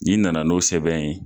N'i na na n'o sɛbɛn ye